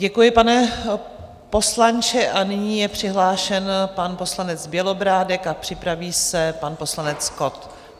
Děkuji, pane poslanče, a nyní je přihlášen pan poslanec Bělobrádek a připraví se pan poslanec Kott.